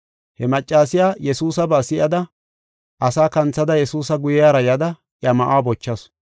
He maccasiya Yesuusaba si7ada, asaa kanthada Yesuusa guyera yada iya ma7uwa bochasu.